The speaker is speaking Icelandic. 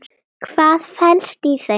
Þar er bugur tjón, skaði.